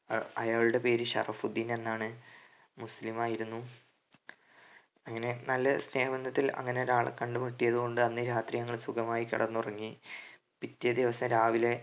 അ അയാളുടെ പേര് ഷറഫുദീൻ എന്നാണ് മുസ്ലീം ആയിരുന്നു അങ്ങനെ നല്ല സ്നേഹബന്ധത്തിൽ അങ്ങനെ ഒരാളെ കണ്ടുമുട്ടിയതുകൊണ്ട് അന്ന് രാത്രി ഞങ്ങൾ സുഖമായി കിടന്നുറങ്ങി പിറ്റേ ദിവസം രാവിലെ